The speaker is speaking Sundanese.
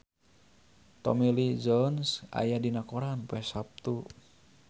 Tommy Lee Jones aya dina koran poe Saptu